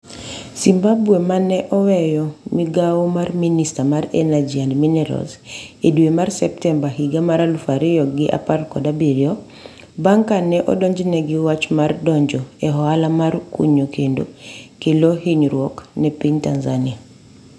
Simbachawene ma ne oweyo migawo mar Minista mar Energy and Minerals e dwe mar Septemba higa mar aluf ariyo gi apar kod abiriyo, bang' ka ne odonjne gi wach mar donjo e ohala mar kunyo kendo kelo hinyruok ne piny Tanzania.